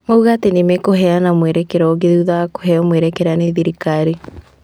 Mauga atĩ nĩmekũheana mwerekera ũngĩ thutha wa kũheo mwerekera nĩ thirikari.